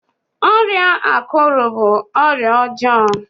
ọrịa akuru bu ọrịa ọjọọ